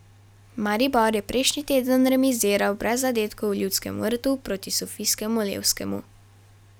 Maribor je prejšnji teden remiziral brez zadetkov v Ljudskem vrtu proti sofijskemu Levskemu.